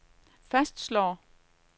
fastslår